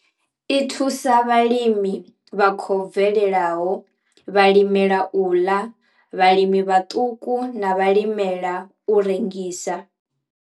I thusa vhalimi vha khou bvelelaho, vhalimela u ḽa, vhalimi vhaṱuku na vhalimela u rengisa.